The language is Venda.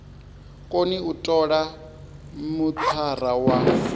koni u tola mithara wa